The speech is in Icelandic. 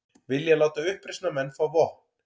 Vilja láta uppreisnarmenn fá vopn